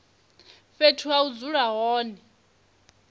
fhethu ha u dzula hone